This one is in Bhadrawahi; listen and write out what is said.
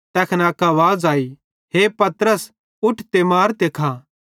तैखन अक आवाज़ आई हे पतरस उठ ते मार ते खा